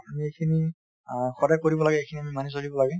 আমি এইখিনি অ সদাই কৰিব লাগে , এইখিনি আমি মানি চলিব লাগে |